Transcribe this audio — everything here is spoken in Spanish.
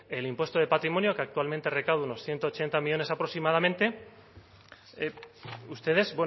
el impuesto de patrimonio que actualmente recauda unos ciento ochenta millónes aproximadamente ustedes